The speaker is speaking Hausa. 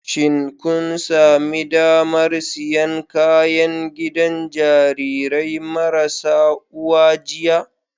Shin kun sami damar siyan kayan gidan Jarirai marasa uwa jiya